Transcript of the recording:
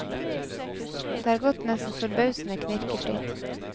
Det har gått nesten forbausende knirkefritt.